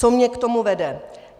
Co mne k tomu vede?